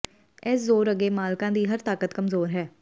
ਇਸ ਜ਼ੋਰ ਅੱਗੇ ਮਾਲਕਾਂ ਦੀ ਹਰ ਤਾਕਤ ਕਮਜ਼ੋਰ ਹੈ